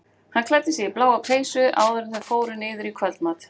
Hann klæddi sig í bláa peysu áður en þau fóru niður í kvöldmat.